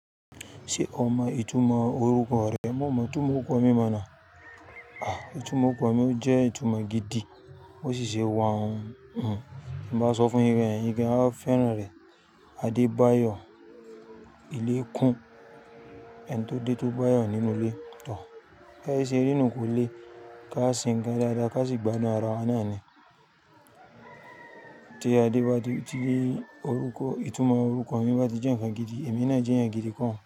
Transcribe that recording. Ṣé o mọ ìtumọ̀ orúkọ rẹ? Mo mọ ìtumọ̀ orúkọ mi mọ̀ ná. À, ìtumọ̀ orúkọ mi ò jẹ́ ìtumọ̀ gidi. Ó sì ṣe wa ohun. Bí n bá sọ fún yín bayen, eyin gan-an a fẹ́ràn rẹ̀. Adebayo. Ilé kún. Ẹni tó dé tó bá ayọ̀ nínú ilé. Bi ayé ṣè ri nù kò le. Ká se nńkan dáadáa, ká sì gbádùn ara wa náà ni. Tí Ade bá ti dé, orúkọ, ìtumọ̀ orúkọ mi bá ti jẹ́ nǹkan gidi, èmi náà jẹ́ ẹni gidi ko un.